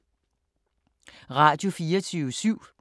Radio24syv